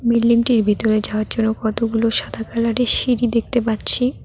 বিল্ডিংটির ভিতরে যাওয়ার জন্য কতগুলো সাদা কালারের সিঁড়ি দেখতে পাচ্ছি।